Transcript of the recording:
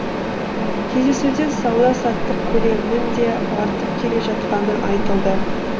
кездесуде сауда саттық көлемінің де артып келе жатқаны айтылды